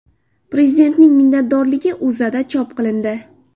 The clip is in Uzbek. Prezidentning minnatdorligi O‘zAda chop qilindi .